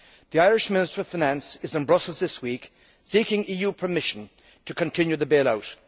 The Irish Minister of Finance is in Brussels this week seeking EU permission to continue the bailout.